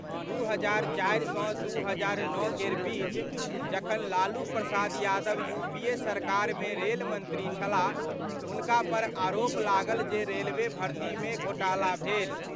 2004 सं 2009 केर बीच, जखन लालू प्रसाद यादव यूपीए सरकार मे रेल मंत्री छलाह, हुनका पर आरोप लागल जे रेलवे भर्ती मे घोटाला भेल।